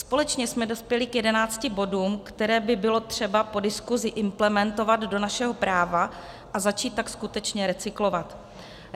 Společně jsme dospěli k 11 bodům, které by bylo třeba po diskusi implementovat do našeho práva, a začít tak skutečně recyklovat.